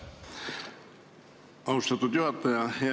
Austatud juhataja!